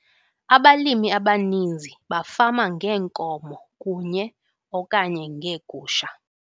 Abalimi abaninzi bafama ngeenkomo kunye okanye ngeegusha.